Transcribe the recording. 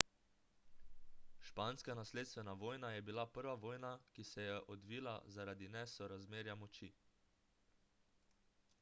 španska nasledstvena vojna je bila prva vojna ki se je odvila zaradi nesorazmerja moči